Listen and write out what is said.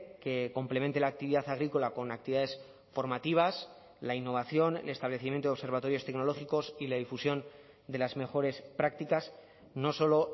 que complemente la actividad agrícola con actividades formativas la innovación el establecimiento de observatorios tecnológicos y la difusión de las mejores prácticas no solo